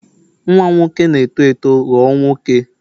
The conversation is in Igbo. nwa m nwoke na-eto eto ghọọ nwoke